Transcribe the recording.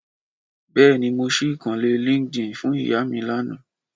Bèéní, mó si ìkànnlé líńkdín fún ìyá mí lánàá